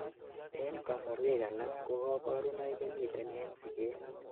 en kasorwek alak ko kaborunoik komiten en siget